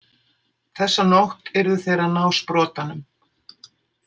Þessa nótt yrðu þeir að ná sprotanum.